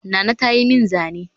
Nana ta yi min zane